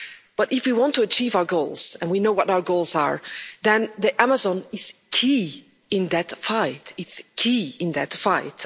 But, if we want to achieve our goals, and we know what our goals are, then the Amazon is key in that fight.